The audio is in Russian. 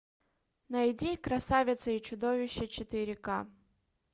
найди красавица и чудовище четыре к